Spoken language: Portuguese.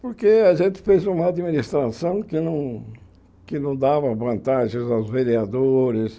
Porque a gente fez uma administração que não que não dava vantagens aos vereadores.